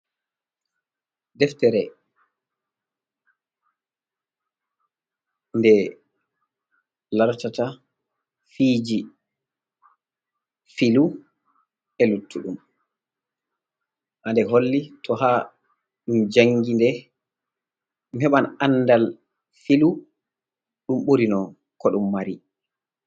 Deftere nde lartata fiiji filu, e luttuɗum, ha nde holli to ha ɗum jangi nde, ɗum heɓan andal filu ɗum ɓuri no ko ɗum mari.